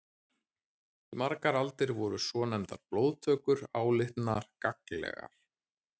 Í margar aldir voru svonefndar blóðtökur álitnar gagnlegar.